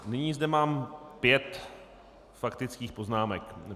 Nyní zde mám pět faktických poznámek.